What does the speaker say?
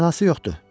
Mənası yoxdur.